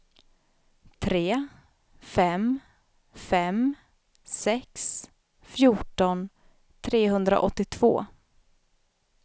tre fem fem sex fjorton trehundraåttiotvå